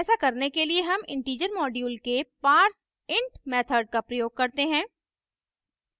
ऐसा करने के लिए हम integer module के parseint method का प्रयोग करते हैं